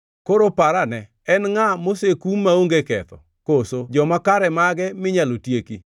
“Koro par ane: En ngʼa mosekum maonge ketho? Koso joma kare mage minyalo tieki?